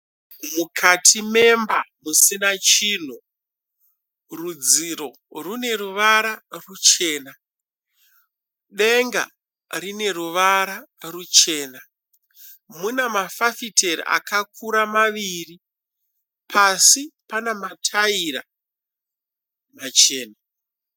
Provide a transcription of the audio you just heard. Mukati memba musina chinhu. Rudziro rwune ruvara ruchena. Denga rine ruvara ruchena. Mune mafafitera akakura maviri. Pasi pane mataira machena.